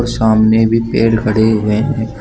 सामने भी पेड़ खड़े हुए हैं।